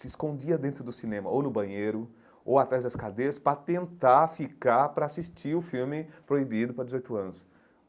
se escondia dentro do cinema ou no banheiro ou atrás das cadeiras para tentar ficar para assistir o filme proibido para dezoito anos.